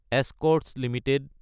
Escorts Ltd